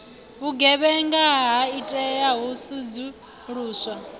vhugevhenga ha itea hu sedzuluswa